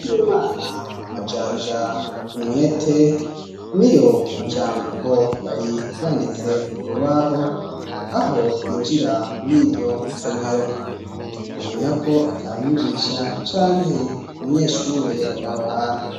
Bwimana majanja umwete niyo majambo yari yanditse kurubaho aho twinjira muri iryo somero umenya ko atamwigisha canke umunyeshure yari aho hantu.